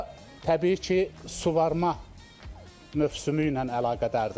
Bu da təbii ki, suvarma mövsümü ilə əlaqədardır.